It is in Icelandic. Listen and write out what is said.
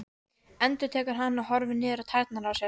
endurtekur hann og horfir niður á tærnar á sér.